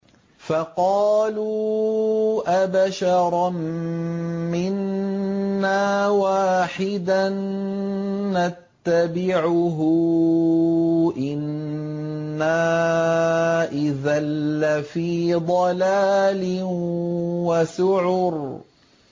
فَقَالُوا أَبَشَرًا مِّنَّا وَاحِدًا نَّتَّبِعُهُ إِنَّا إِذًا لَّفِي ضَلَالٍ وَسُعُرٍ